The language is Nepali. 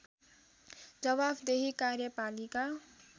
जवाफदेही कार्यपालिका